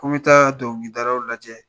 Ko n bi taa dɔnkilidalaw lajɛ